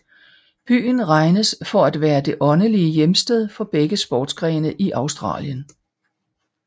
Byen regnes for at være det åndelige hjemsted for begge sportsgrene i Australien